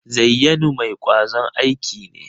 Zayyanu mai kwazon aiki ne?